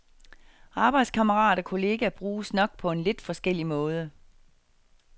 Arbejdskammerat og kollega bruges nok på en lidt forskellig måde.